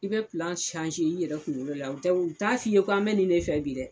I bɛ i yɛrɛ kunkolo la u t'a f'i ye k'an bɛ nin de fɛ bi dɛ